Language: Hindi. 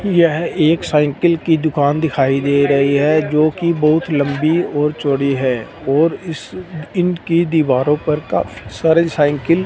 यह एक साइकिल की दुकान दिखाई दे रही है जो कि बहुत लंबी और चौड़ी है और इस इन की दीवारों पर काफी सारी साइकिल --